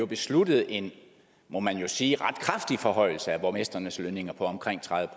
besluttede en må man jo sige ret kraftig forhøjelse af borgmestrenes lønninger på omkring tredive